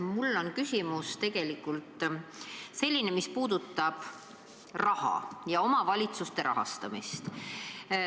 Mul on küsimus, mis puudutab raha, täpsemalt omavalitsuste rahastamist.